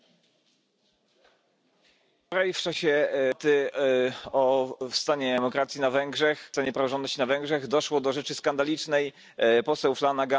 das weiterentwickeln. Der Gesprächsvorschlag für alle Beteiligten liegt auf dem Tisch. Sie müssten uns bitte nur noch heute Ihre Zustimmung geben, damit wir weitermachen können.